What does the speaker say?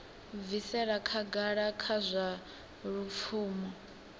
bvisela khagala kha zwa lupfumo